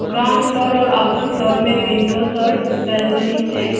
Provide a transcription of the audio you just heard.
Ground floor और upper floor में windows और बालकनीज है।